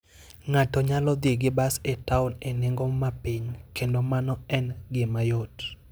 Ng'ato nyalo dhi gi bas e taon e nengo ma piny, kendo mano en gima yot.